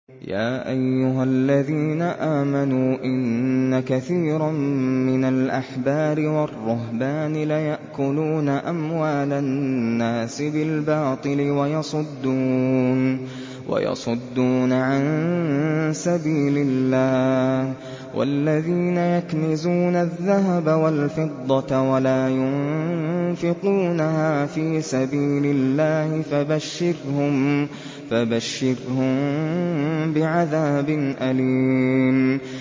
۞ يَا أَيُّهَا الَّذِينَ آمَنُوا إِنَّ كَثِيرًا مِّنَ الْأَحْبَارِ وَالرُّهْبَانِ لَيَأْكُلُونَ أَمْوَالَ النَّاسِ بِالْبَاطِلِ وَيَصُدُّونَ عَن سَبِيلِ اللَّهِ ۗ وَالَّذِينَ يَكْنِزُونَ الذَّهَبَ وَالْفِضَّةَ وَلَا يُنفِقُونَهَا فِي سَبِيلِ اللَّهِ فَبَشِّرْهُم بِعَذَابٍ أَلِيمٍ